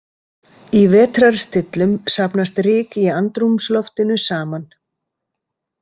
Í vetrarstillum safnast ryk í andrúmsloftinu saman.